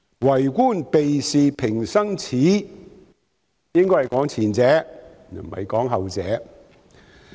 "為官避事平生耻"應該是指前者，而不是指後者。